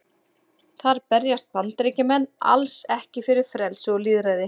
Þar berjast Bandaríkjamenn alls ekki fyrir frelsi og lýðræði.